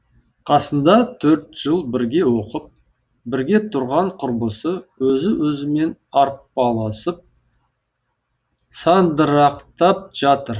қасында төрт жыл бірге оқып бірге тұрған құрбысы өзі өзімен арпалысып сандырақтап жатыр